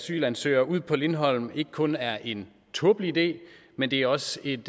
asylansøgere ud på lindholm ikke kun er en tåbelig idé men det er også et